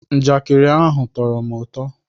Njakịrị ndị ahụ tọrọ m ụtọ